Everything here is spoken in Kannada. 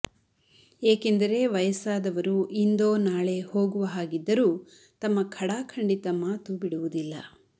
ಏಕೆಂದರೆ ವಯಸ್ಸಾದವರು ಇಂದೋ ನಾಳೆ ಹೋಗುವ ಹಾಗಿದ್ದರೂ ತಮ್ಮ ಖಡಾಖಂಡಿತ ಮಾತು ಬಿಡುವುದಿಲ್ಲ